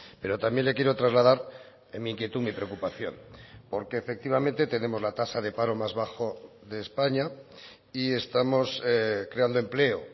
pero también le quiero trasladar en mi inquietud mi preocupación porque efectivamente tenemos la tasa de paro más bajo de españa y estamos creando empleo